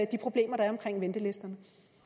de problemer der er omkring ventelisterne